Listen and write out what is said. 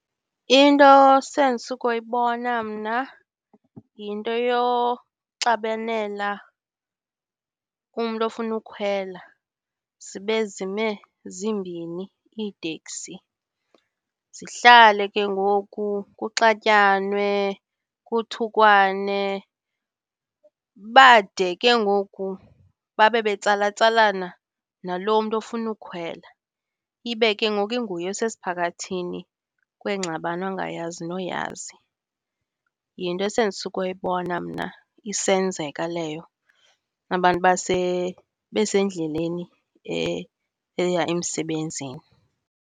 Into sendisuka uyibona mna yinto yoxabanela umntu ofuna ukhwela zibe zime zimbini iiteksi, zihlale ke ngoku kuxatyanwe, kuthukwane. Bade ke ngoku babe betsalatsalana nalo mntu ofuna ukukhwela, ibe ke ngoku inguye osesiphakathini sengxabano angayazi noyazi. Yinto esendisuka uyibona mna isenzeka leyo, abantu besendleleni eya emsebenzini.